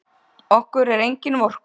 Okkur er engin vorkunn.